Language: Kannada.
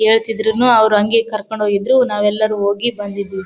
ಹೇಳತ್ತಿದ್ರುನು ಅವ್ರ ಹಂಗೆ ಕರಕೊಂಡ್ ಹೋಗಿದ್ರು ನಾವೇಲ್ಲಾರು ಹೋಗಿ ಬಂದಿದ್ದವಿ.